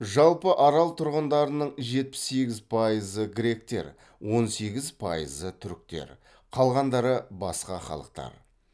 жалпы арал тұрғындарының жетпіс сегіз пайызы гректер он сегіз пайызы түріктер қалғандары басқа халықтар